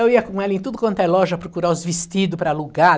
Eu ia com ela em tudo quanto é loja procurar os vestido para alugar.